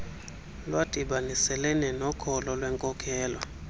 lwadibaniselene nokholo lwenkolelo